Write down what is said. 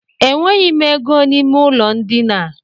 E nweghị m ego n'ime ụlọ ndina a.